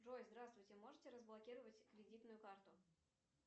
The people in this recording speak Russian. джой здравствуйте можете разблокировать кредитную карту